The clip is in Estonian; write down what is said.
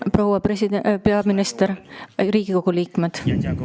Proua peaminister!